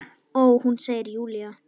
Ó, hún, segir Júlía.